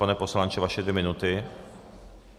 Pane poslanče, vaše dvě minuty.